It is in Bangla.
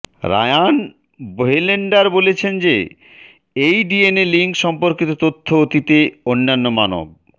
রায়ান বোহেলেন্ডার বলেছেন যে এই ডিএনএ লিঙ্ক সম্পর্কিত তথ্য অতীতে অন্যান্য মানব